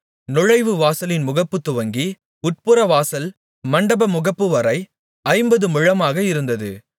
நுழைவு வாசலின் முகப்புத் துவங்கி உட்புறவாசல் மண்டபமுகப்புவரை ஐம்பது முழமாக இருந்தது